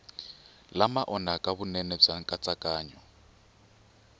lama onhaka vunene bya nkatsakanyo